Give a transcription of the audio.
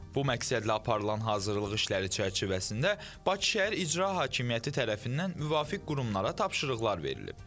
Bu məqsədlə aparılan hazırlıq işləri çərçivəsində Bakı Şəhər İcra Hakimiyyəti tərəfindən müvafiq qurumlara tapşırıqlar verilib.